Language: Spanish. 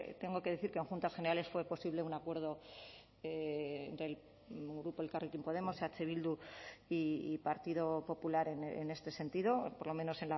tengo que decir que en juntas generales fue posible un acuerdo del grupo elkarrekin podemos eh bildu y partido popular en este sentido por lo menos